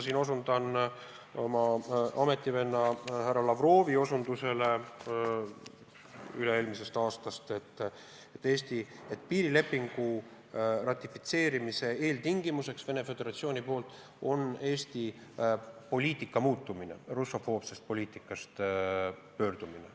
Ma osutan oma ametivenna härra Lavrovi sõnadele üle-eelmisest aastast, et piirilepingu ratifitseerimise eeltingimus Venemaa Föderatsiooni poolt on Eesti poliitika muutumine, russofoobse poliitika lõpetamine.